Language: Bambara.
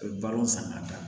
A bɛ balon san ka taa